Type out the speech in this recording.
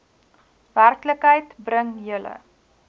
werklikheid bring julle